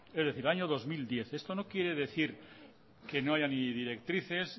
es decir año dos mil diez esto no quiere decir que no haya ni directrices